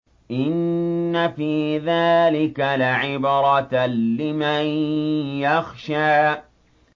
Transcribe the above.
إِنَّ فِي ذَٰلِكَ لَعِبْرَةً لِّمَن يَخْشَىٰ